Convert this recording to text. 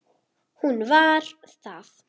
Hún var það.